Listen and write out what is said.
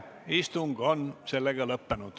Istung on lõppenud.